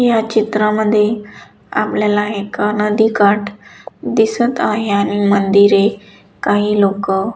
या चित्रामध्ये आपल्याला एक नदीकाठ दिसत आहे आणि मंदिरे काही लोक --